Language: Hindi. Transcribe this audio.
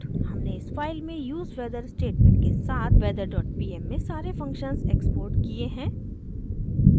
हमने इस फाइल में use weather स्टेटमेंट के साथ weather dot pm में सारे फंक्शन्स एक्सपोर्ट किये हैं